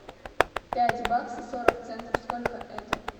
пять баксов сорок центов сколько это